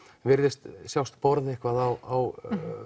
virðist sjást borða eitthvað á